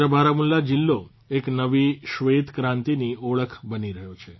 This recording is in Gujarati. સમગ્ર બારમુલા જીલ્લો એક નવી શ્વેતક્રાંતિની ઓળખ બની રહ્યો છે